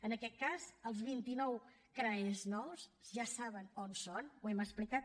en aquest cas els vint i nou crae nous ja saben on són ho hem explicat